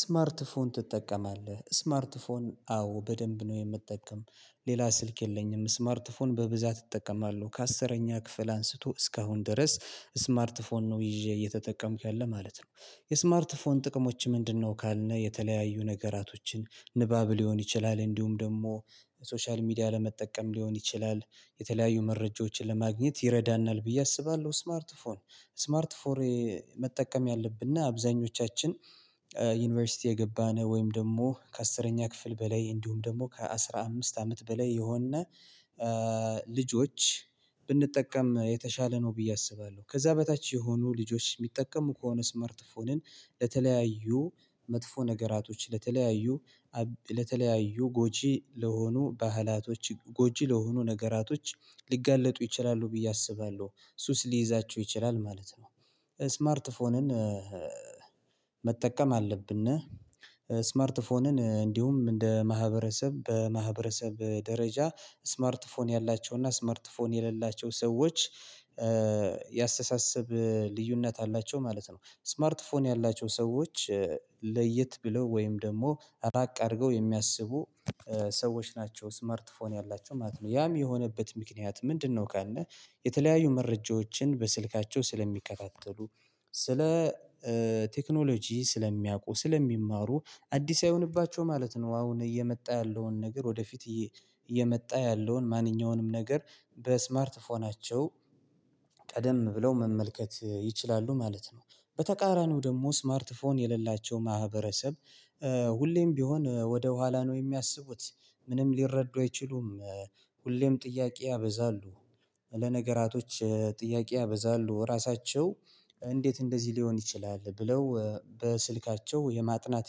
ስማርት ፎን ትጠቀማለህ ስማርት ፎን አዎ በደንብ ነው የምጠቀም ሌላ ስልክ የለኝም ስማርት ፎን በብዛት እጠቀማለሁ ከአስረኛ ክፍል አንስቶ እስካሁን ድረስ ስማርት ፎን ነው ይዤ እየተጠቀምኩ ያለ ማለት ነው። የስማርት ፎን ጥቅሞች ምንድነው? ካልን የተለያዩ ነገራቶችን ንባብ ሊሆን ይችላል እንዲሁም ደግሞ ሶሻል ሚዲያ ለመጠቀም ሊሆን ይችላል የተለያዩ መረጃዎችን ለማግኘት ይረዳናል ብዬ አስባለሁ። ስማርት ፎር ስማርት ፎር መጠቀም ያለብና አብዛኞቻችን ዩኒቨርሲቲ የገባን ወይም ደግሞ ከአስረኛ ክፍል በላይ እንዲሁም ደግሞ ከአስራ አምስት አመት በላይ የሆን ልጆች ብንጠቀም የተሻለ ነው ብዬ አስባለሁ። ከዛ በታች የሆኑ ልጆች የሚጠቀሙ ከሆነ ስለርት ፎንን ለተለያዩ መጥፎ ነገራቶች ለተለያዩ ለተለያዩ ጎጂ ለሆኑ ባህላቶች ጎጂ ለሆኑ ነገራቶች ሊጋለጡ ይችላሉ ብዬ አስባለሁ ሱስ ሊይዛቸው ይችላል ማለት ነው። ስማርት ፎንን መጠቀም አለብን። ስማርት ፎንን እንዲሁም እንደ ማህበረሰብ በማህበረሰብ ደረጃ ስማርት ፎን ያላቸው እና ስማርት ፎን የሌላቸው ሰዎች የአስተሳስብ ልዩነት አላቸው ማለት ነው። ስማርት ፎን ያላቸው ሰዎች ለየት ብለው ወይም ደግሞ ራቅ አድርገው የሚያስቡ ሰዎች ናቸው ስማርት ፎን ያላቸው ማለት ነው ያም የሆነበት ምክንያት ምንድነው? ካልን የተለያዩ መረጃዎችን በስልካቸው ስለሚከታተሉ ስለ ቴክኖሎጂ ስለሚያውቁ ስለሚማሩ አዲስ አይሆንባቸው ማለት ነው። አሁን እየመጣ ያለውን ነገር ወደፊት እየመጣ ያለውን ማንኛውንም ነገር በስማርት ፎናቸው ቀደም ብለው መመልከት ይችላሉ ማለት ነው። በተቃራኒው ደግሞ ስማርት ፎን የሌላቸው ማህበረሰብ ሁሌም ቢሆን ወደ ኋላ ነው የሚያስቡት ምንም ሊረዱ አይችሉም። ሁሌም ጥያቄ ያበዛሉ። ለነገራቶች ጥያቄ ያበዛሉ ራሳቸው እንዴት እንደዚህ ሊሆን ይችላል ብለው በስልካቸው የማጥናት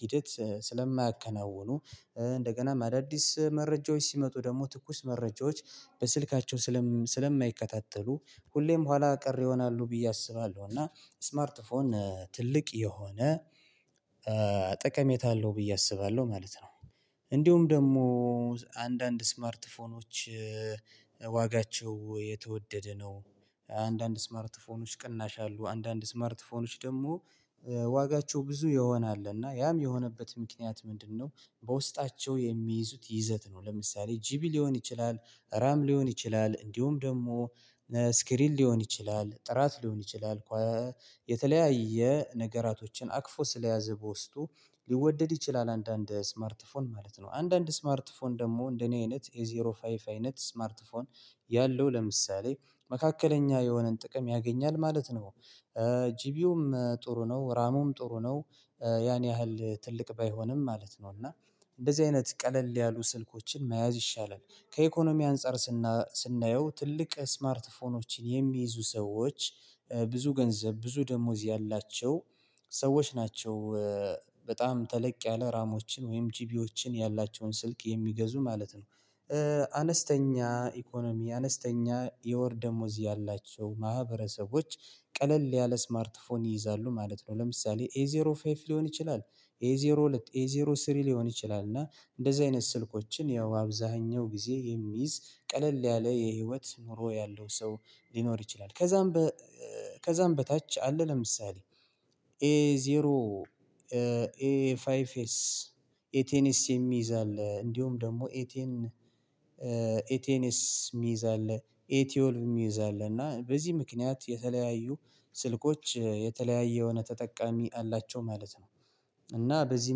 ሂደት ስለማያከናውኑ እንደገና አዳዲስ መረጃዎች ሲመጡ ደግሞ ትኩስ መረጃዎች በስልካቸው ስለማይከታተሉ ሁሌም ኋላ ቀር ይሆናሉ ብዬ አስባለሁ። እና ስማርት ፎን ትልቅ የሆነ ጠቀሜታ አለው ብዬ አስባለሁ ማለት ነው። እንዲሁም ደግሞ አንዳንድ ስማርት ፎኞች ዋጋቸው የተወደደ ነው። አንዳንድ ስማርት ፎኖች ቅናሽ አሉ አንዳንድ ስማርት ፎኖች ደግሞ ዋጋቸው ብዙ ይሆናል እና ያም የሆነበት ምክንያት ምንድነው? በውስጣቸው የሚይዙት ይዘት ነው ለምሳሌ ጂቢ ሊሆን ይችላል ራም ሊሆን ይችላል እንዲሁም ደግሞ ስክሪን ሊሆን ይችላል ጥራት ሊሆን ይችላል ኳ የተለያየ ነገራቶችን አቅፎ ስለያዘ በውስጡ ሊወደድ ይችላል። አንዳንድ ስማርት ፎን ማለት ነው። አንዳንድ ስማርት ፎን ደግሞ እንደኔ አይነት ኤ ዜሮ ፋይቭ አይነት ስማርት ፎን ያለው ለምሳሌ መካከለኛ የሆነን ጥቅም ያገኛል ማለት ነው። ጂቢውም ጥሩ ነው ራሙም ጥሩ ነው። ያን ያህል ትልቅ ባይሆንም ማለት ነው። እና እንደዚህ አይነት ቀለል ያሉ ስልኮችን መያዝ ይሻላል። ከኢኮኖሚ አንፃር ስናየው ትልቅ ስማርት ፎኖችን የሚይዙ ሰዎች ብዙ ገንዘብ ብዙ ደሞዝ ያላቸው ሰዎች ናቸው። በጣም ተለቅ ያለ ራሞችን ወይም ጂቢዎችን ያላቸውን ስልክ የሚገዙ ማለት ነው። አነስተኛ ኢኮኖሚ አነስተኛ የወር ደሞዝ ያላቸው ማህበረሰቦች ቀለል ያለ ስማርት ፎን ይይዛሉ ማለት ነው። ለምሳሌ ኤዜሮ ፋይቭ ሊሆን ይችላል ኤዜሮ ዜሮ ሁለት ኤ ዜሮ ስሪ ሊሆን ይችላል እና እንደዚህ አይነት ስልኮችን ያው አብዛኛው ጊዜ የሚይዝ ቀለል ያለ የህይወት ኑሮ ያለው ሰው ሊኖር ይችላል። ከዛም ከዛም በታች አለ ለምሳሌ ኤ ዜሮ ኤ ፋይ ኤስ ኤቴንስ የሚይዝ አለ። እንዲሁም ደግሞ ኤቴን ኤ ቴንስ የሚይዝ አለ ኤ ቴወልቭ የሚይዝ አለ እና በዚህ ምክንያት የተለያዩ ስልኮች የተለያዩ የሆነ ተጠቃሚ አላቸው ማለት ነው። እና በዚህ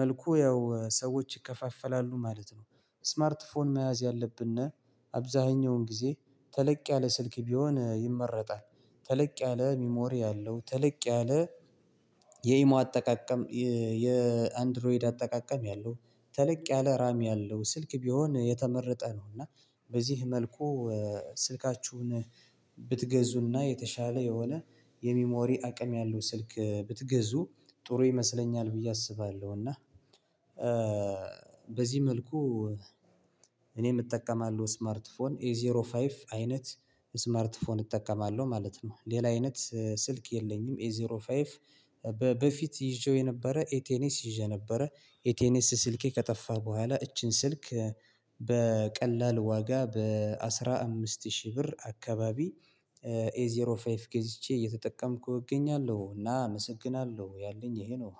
መልኩ ያው ሰዎች ይከፋፈላሉ ማለት ነው። ስማርት ፎን መያዝ ያለብን አብዛኛውን ጊዜ ተለቅ ያለ ስልክ ቢሆን ይመረጣል። ተለቅ ያለ ሚሞሪ ያለው ተለቅ ያለ የኢሞ አጠቃቀም የአንድሮይድ አጠቃቀም ያለው ተለቅ ያለ ራሚ ያለው ስልክ ቢሆን የተመረጠ ነው። እና በዚህ መልኩ ስልካችሁን ብትገዙና የተሻለ የሆነ የሚሞሪ አቅም ያለው ስልክ ብትገዙ ጥሩ ይመስለኛል። ብዬ አስባለሁና እና በዚህ መልኩ እኔም እጠቀማለሁ ስማርት ፎን ኤ ዜሮ ፋይቭ አይነት ስማርት ፎን እጠቀማለሁ ማለት ነው። ሌላ አይነት ስልክ የለኝም ኤዜሮ ፋይቭ በፊት ይዤው የነበረ ኤቴንስ ይዤ ነበረ ኤቴንስ ስልኬ ከጠፋ በኋላ እቺን ስልክ በቀላል ዋጋ በአስራ አምስት ሺህ ብር አካባቢ ኤዜሮ ፋይቭ ገዝቼ እየተጠቀምኩ እገኛለሁ እና አመሰግናለሁ ያለኝ ይሄ ነው።